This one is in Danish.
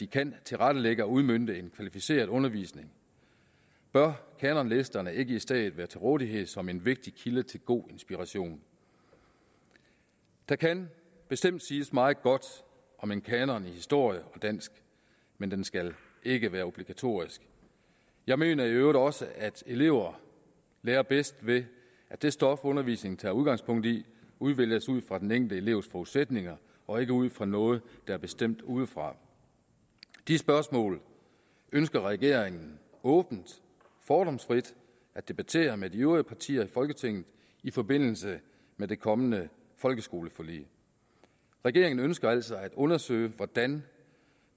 kan tilrettelægge og udmønte en kvalificeret undervisning bør kanonlisterne ikke i stedet være til rådighed som en vigtig kilde til god inspiration der kan bestemt siges meget godt om en kanon i historie og dansk men den skal ikke være obligatorisk jeg mener i øvrigt også at elever lærer bedst ved at det stof undervisningen tager udgangspunkt i udvælges ud fra den enkelte elevs forudsætninger og ikke ud fra noget der er bestemt udefra de spørgsmål ønsker regeringen åbent fordomsfrit at debattere med de øvrige partier i folketinget i forbindelse med det kommende folkeskoleforlig regeringen ønsker altså at undersøge hvordan